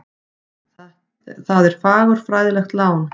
Það er fagurfræðilegt lán.